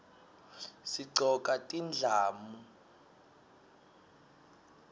sigcoka tindlamu